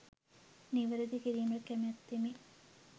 නිවැරදි කිරීමට කැමැත්තෙමි